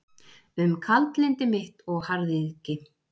Um kaldlyndi mitt og harðýðgi.